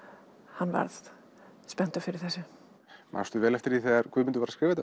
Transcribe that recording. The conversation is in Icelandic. hann varð spenntur fyrir þessu manstu vel eftir því þegar Guðmundur var að skrifa